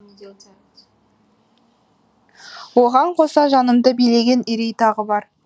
оған қоса жанымды билеген үрей тағы бар